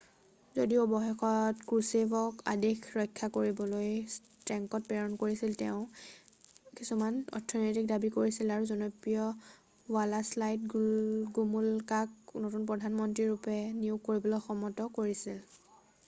যদিও অৱশেষত ক্ৰুছেভক আদেশ ৰক্ষা কৰিবলৈ টেঙ্কত প্ৰেৰণ কৰিছিল তেওঁ কিছুমান অৰ্থনৈতিক দাবী কৰিছিল আৰু জনপ্ৰিয় ৱালাডাইশ্ল গোমুলকাক নতুন প্ৰধান মন্ত্ৰী ৰূপে নিয়োগ কৰিবলৈ সন্মত কৰিছিল